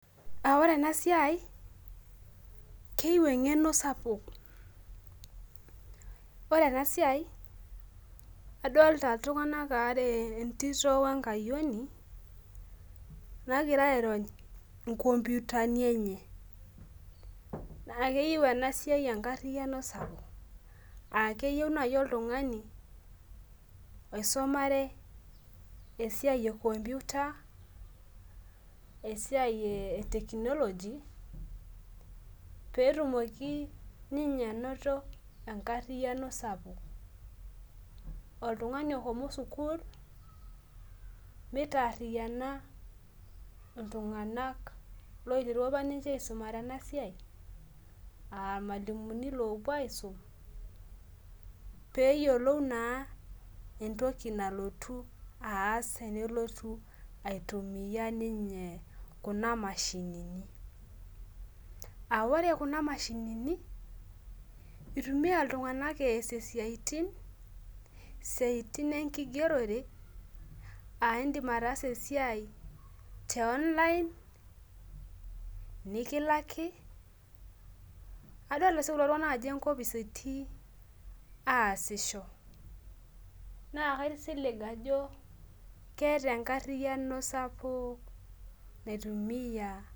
Aa kore enasia keyieu engeno sapuk ore enasia adolta ltunganak aare entito wenkayioni ogira airony inkomputani enye, aa keyieu nai oltungani oisumaee esiai enkomputa esia e technology petumoki ninye ainoto enkariano sapuk oltunganj oshomo sukul mitaariana oltungani apa oshomo as enasia aa irmalimulini opuo aisum peyiolou entoki nalotu aastenelotu aitumia ninye kunamashinini aa ore kuna mashinini itumia ltunganak asie siatin enkigerore aindim ataasa esiai nikilaki adolta si kulo tunganak ajo enkopis etii aasisho na kaisilig ajo keeta enkarino sapuk naitumia.